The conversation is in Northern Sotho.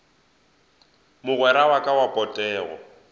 mogwera wa ka wa potego